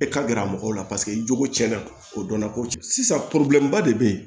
E ka gɛrɛ mɔgɔw la paseke i jogo cɛn na kodɔnna ko sisan ba de bɛ yen